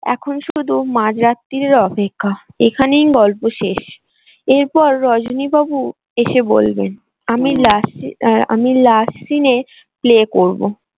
এখন শুধু মাঝ রাত্রিরের অপেক্ষা এখানেই গল্প শেষ এরপর রজনীবাবু এসে বলবেন আমি last syce আমি last scene এ play করবো।